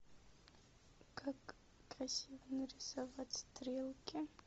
как красиво нарисовать стрелки